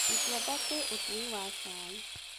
Gituamba kwĩ ũtui wa cai.